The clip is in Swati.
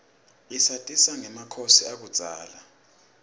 isatisa rgemakhosi akubzala